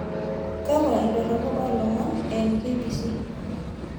kwakwa indorropu olomon eimu k.b.c